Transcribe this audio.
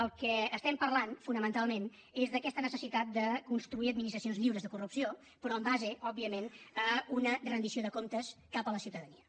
del que estem parlant fonamentalment és d’aquesta necessitat de construir administracions lliures de corrupció però en base òbviament a una rendició de comptes cap a la ciutadania